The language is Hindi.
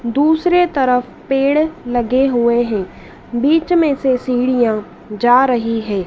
दूसरे तरफ पेड़ लगे हुए हैं बीच में से सीढ़ियां जा रही हैं।